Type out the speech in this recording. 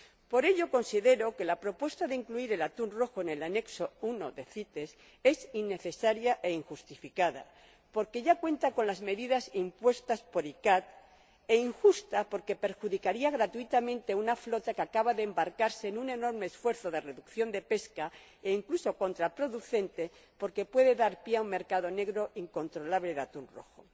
Por ello, considero que la propuesta de incluir el atún rojo en el Apéndice I de CITES es innecesaria e injustificada, porque ya cuenta con las medidas impuestas por ICCAT, injusta, porque perjudicaría gratuitamente a una flota que acaba de embarcarse en un enorme esfuerzo de reducción de pesca, e incluso contraproducente, porque puede dar pie a un mercado negro incontrolable de atún rojo.